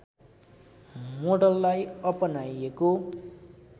मोडललाई अपनाइएको